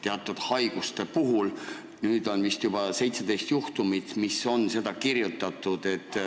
Nüüd on olnud vist juba 17 juhtumit, kui on seda välja kirjutatud.